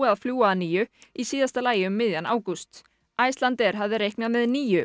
að fljúga að nýju í síðasta lagi um miðjan ágúst Icelandair hafði reiknað með níu